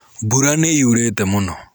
Mbura nĩyurĩte mũno.